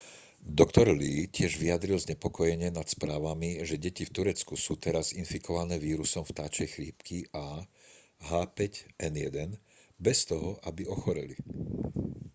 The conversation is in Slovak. dr. lee tiež vyjadril znepokojenie nad správami že deti v turecku sú teraz infikované vírusom vtáčej chrípky ah5n1 bez toho aby ochoreli